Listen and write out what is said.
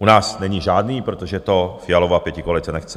U nás není žádný, protože to Fialova pětikoalice nechce.